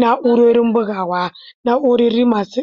Na'urorin bugawa, na'urori masu